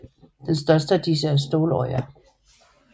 Den største af disse er Ståløya